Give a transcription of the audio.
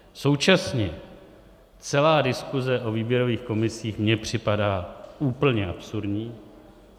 Současně celá diskuse o výběrových komisích mně připadá úplně absurdní.